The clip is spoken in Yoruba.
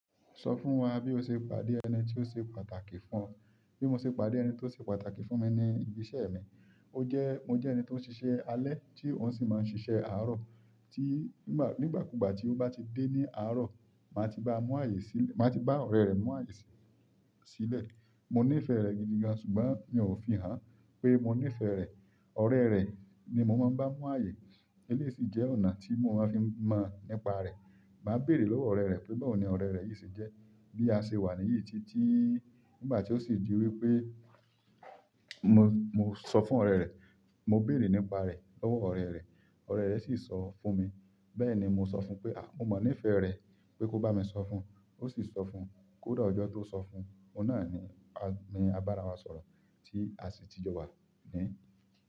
Sọ fún wa bí o ṣe pàdé ẹni tí ó ṣe pàtàkì fún ọ. Bí mo ṣe pàdé ẹni tí ó ṣe pàtàkì fún mi ni ibi iṣẹ́ mi. Ó jẹ́, mo jẹ́ ẹni tí ó ń ṣiṣẹ́ alẹ́ tí òun sì máa ń ṣiṣẹ́ àárọ̀. Nigbakugba ti o ba ti de ni àárọ̀, maa ti ba ọrẹ rẹ mu ààyè silẹ. Mo nífẹ̀ẹ́ rẹ̀ gidi gan, ṣùgbọ́n mi ò fi hàn pé mo nífẹ̀ẹ́ rẹ̀. Ọ̀rẹ́ rẹ̀ ni mo máa ń bá mú ààyè. Eléyìí sì jẹ́ ọ̀nà tí mo máa ń fi mọ̀ nípa rẹ̀. Màá béèrè lọ́wọ́ ọ̀rẹ́ rẹ̀ pé, "báwo ni ọ̀rẹ́ rẹ yìí sì jẹ́?" Bí a ṣe wà níyìí títí nígbà tí ó sì di wípé mo, mo sọ fún ọ̀rẹ́ rẹ̀, mo béèrè nípa rẹ̀ lọ́wọ́ ọ̀rẹ́ rẹ̀. Ọ̀rẹ́ rẹ sì sọ fún mi. Bẹ́ẹ̀ ni mo sọ fún un pé, "à, mo mọ̀ ní ìfẹ́ rẹ pé kó bá mi sọ fún un." Ó sì sọ fún un. Kódà ọjọ́ tó sọ fún un, ọ̀nà ni, ni abára wa sọ̀rọ̀ tí a sì ti jọ wà ní.